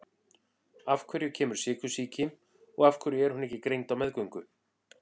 Af hverju kemur sykursýki og af hverju er hún ekki greind á meðgöngu?